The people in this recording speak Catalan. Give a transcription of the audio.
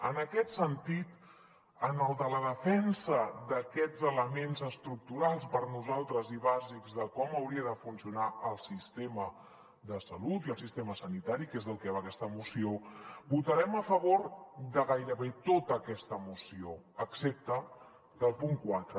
en aquest sentit en el de la defensa d’aquests elements estructurals per nosaltres i bàsics de com hauria de funcionar el sistema de salut i el sistema sanitari que és del que va aquesta moció votarem a favor de gairebé tota aquesta moció excepte del punt quatre